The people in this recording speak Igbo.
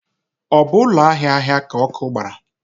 Ọ bụ ụlọ ahịa ahịa ka ọkụ gbara?